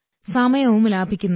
സമയവും ലാഭിക്കുന്നു